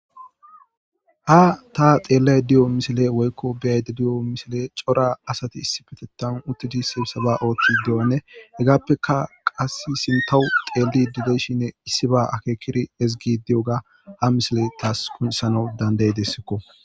Ha ta xeellay diyo misile woykko beyayde di7o misile cora asati issipetetan uttidise saba ooththi de7anne hegaappeka qass sintahu xeeli dileshinne issiba akeekiri ezigi diyoga ha misile taas kunsano danday dessikko.